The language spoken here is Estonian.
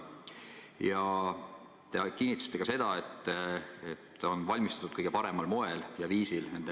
Ja te kinnitasite seda, et nende lepingute sõlmimine on valmistatud ette kõige paremal moel ja viisil.